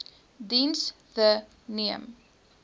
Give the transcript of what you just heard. diens the neem